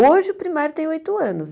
Hoje o primário tem oito anos.